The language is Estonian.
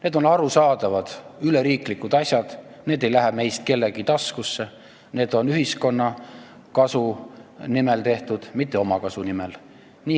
Need on arusaadavad üleriigilise tähtsusega asjad, need summad ei läheks meist kellegi taskusse, need oleks tehtud ühiskonna kasu nimel, mitte omakasu nimel.